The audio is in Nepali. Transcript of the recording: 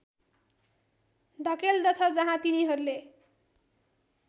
धकेल्दछ जहाँ तिनीहरूले